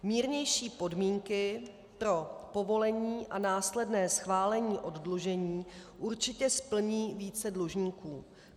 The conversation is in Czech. Mírnější podmínky pro povolení a následné schválení oddlužení určitě splní více dlužníků.